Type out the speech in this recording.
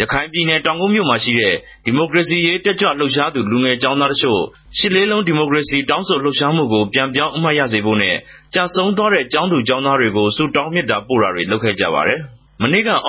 ရခိုင်ူပည်နယ် တောင်ကုတ်္ဘမိြႛမြာရြိတဲ့ ဒီမိုကရေစီရေး တက်ုကလြြပ်ရြားသူ လူငယ် ကေဵာင်းသား တခဵိြႛရြစ်လေးလုံး ဒီမိုကရေစီ တောင်းဆိုလြပ်ရြားမကြို ူပန်ေူပာင်း အမြတ်ရစေဖိုႛနဲႛ ကဵဆုံးသြားတဲ့ ကေဵာင်းသူကေဵာင်းသားတေကြို ဆုတောင်းမေတ္ဇာ ပိုႛတာတြေ လုပ်ခဲ့ုကပၝတယ်။ ုသ